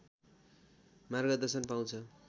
मार्गदर्शन पाउँछ